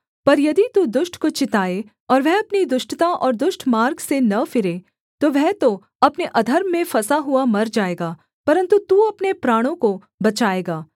पर यदि तू दुष्ट को चिताए और वह अपनी दुष्टता और दुष्ट मार्ग से न फिरे तो वह तो अपने अधर्म में फँसा हुआ मर जाएगा परन्तु तू अपने प्राणों को बचाएगा